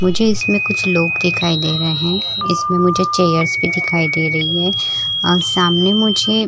मुझे इसमें कुछ लोग दिखाई दे रहे है इसमें मुझे चेयर्स भी दिखाई दे रही है सामने मुझे --